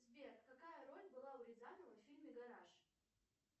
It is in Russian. сбер какая роль была у рязанова в фильме гараж